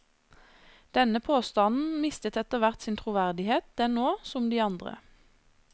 Denne påstanden mistet etter hvert sin troverdighet den og, som de andre.